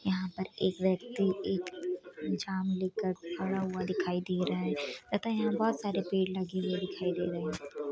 यहाँ पर एक व्यक्ति एक जाम लेकर खड़ा हुआ दिखाई दे रहा है अतः यहाँ पर बहुत सारे पेड़ लगे हुए दिखाई दे रहे हैं।